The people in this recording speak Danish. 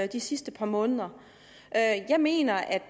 de sidste par måneder jeg mener